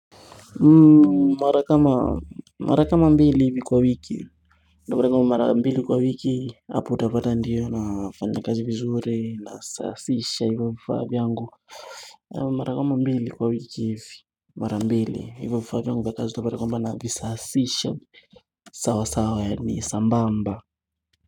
Mara kama mbili hivi kwa wiki ndio unapata kama mara kama mbili kwa wiki hapo utapata ndio nafanya kazi vizuri, nasasisha hivyo vifaa vyangu mara kama mbili kwa wiki hivi, mara mbili hivyo vifaa vyangu vya kazi utapata kwamba navisasisha sawa sawa ni sambamba.